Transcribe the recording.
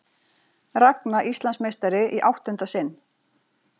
Ragna Íslandsmeistari í áttunda sinn